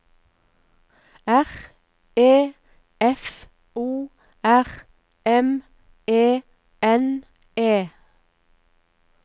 R E F O R M E N E